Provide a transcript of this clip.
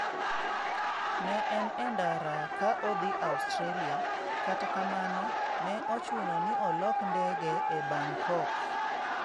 Ne en e ndara ka odhi Australia, kata kamano ne ochuno ni olok ndege e Bangkok.